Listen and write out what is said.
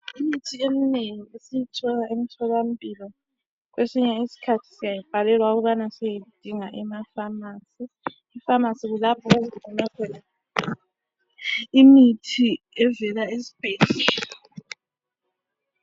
Imithi eminengi esiyithola emtholampilo, kwesinye isikhathi siyayibhalelwa ukubana siyeyidinga emafamasi. EFamasi kulapho okugcinwa khona imithi evela esibhedlela.